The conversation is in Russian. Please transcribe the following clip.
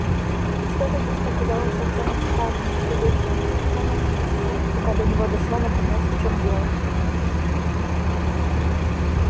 что-то здесь показалось артему странным непривычным и прошло несколько секунд пока до него дошло наконец в чем дело